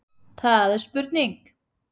Það er spurning!